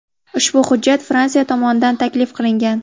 Ushbu hujjat Fransiya tomonidan taklif qilingan.